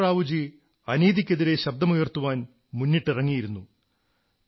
Narasimha Rao അനീതിക്കെതിരെ ശബ്ദമുയർത്തുവാൻ മുന്നിട്ടിറങ്ങിയിരുന്നു